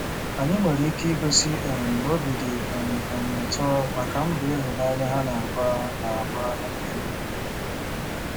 Anyị nwere ike igosi um na obi dị um anyị ụtọ maka mbọ ịhụnanya ha na-agba. na-agba. um